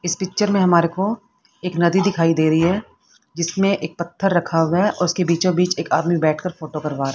इस पिक्चर मे हमारे को एक नदी दिखाई दे रही है जिसमें एक पत्थर रखा हुआ है और उसके बीचों-बीच एक आदमी बैठकर फोटो करवा रहा है।